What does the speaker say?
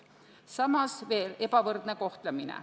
Lisandub veel ebavõrdne kohtlemine.